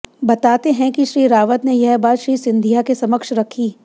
बताते हैं कि श्री रावत ने यह बात श्री सिंधिया के समक्ष रखी